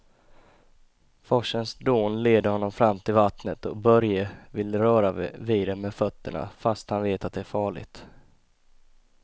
Forsens dån leder honom fram till vattnet och Börje vill röra vid det med fötterna, fast han vet att det är farligt.